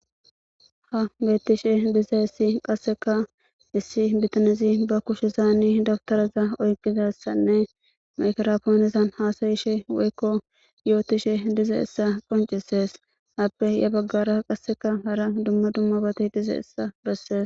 Ha bettishe diza issi qasseka issi bitanizi ba kushe zaani dabtaraza oyqqida issanne makerapoonizan haasayishe woykko yootishe dize issa qoncisees .Aappe ya baggara qasseka hara dumma dumma bati dize issa bessees.